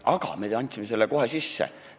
Aga me andsime selle kohe sisse.